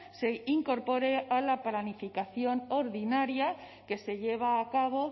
se incorpore a la planificación ordinaria que se lleva a cabo